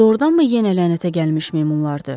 Doğrudanmı yenə lənətə gəlmiş meymunlardır?